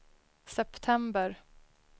september